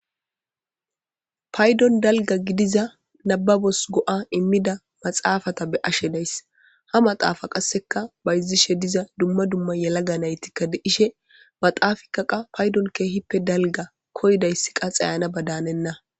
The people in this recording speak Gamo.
Paydon dalga gidiza nababos go'a immida maxaafata be ashe dayss ha maxaafa qasseka bayzishe diza dumma dumma yalaga naytikka deishe baxaafika qa paydon keehippe dalga koydayss qaxayana badaanenna.